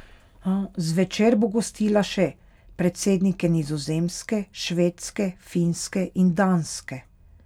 Zvečer bo gostila še predsednike Nizozemske, Švedske, Finske in Danske.